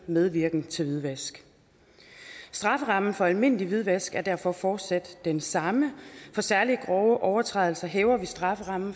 medvirken til hvidvask strafferammen for almindelig hvidvask er derfor fortsat den samme for særlig grove overtrædelser hæver vi strafferammen